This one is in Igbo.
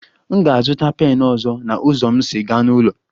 M ga-azụta pen ọzọ na ụzọ m si aga n'ụlọ